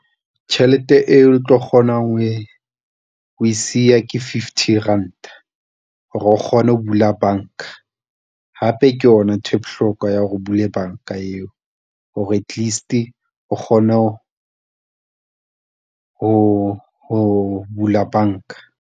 Tjhelete eo o tlo kgonang ho e o e siya ke fifty ranta hore o kgone ho bula banka, hape ke yona ntho bohloko ya hore o bule bank-a a eo hore at least o kgone ho bula banka.